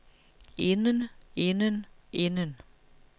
inden inden inden